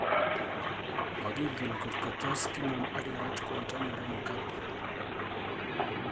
Makingen kotko tos kinam akerat kwondo nebo Mugabe .